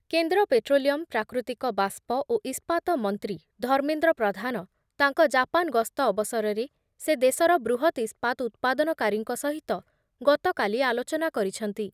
କେନ୍ଦ୍ର ପେଟ୍ରୋଲିୟମ୍, ପ୍ରାକୃତିକ ବାଷ୍ପ ଓ ଇସ୍ପାତ ମନ୍ତ୍ରୀ ଧର୍ମେନ୍ଦ୍ର ପ୍ରଧାନ ତାଙ୍କ ଜାପାନ୍ ଗସ୍ତ ଅବସରରେ ସେ ଦେଶର ବୃହତ୍ ଇସ୍ପାତ୍ ଉତ୍ପାଦନକାରୀଙ୍କ ସହିତ ଗତକାଲି ଆଲୋଚନା କରିଛନ୍ତି ।